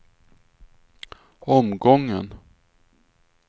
omgången